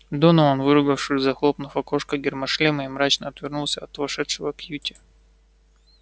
донован выругавшись захлопнул окошко гермошлема и мрачно отвернулся от вошедшего кьюти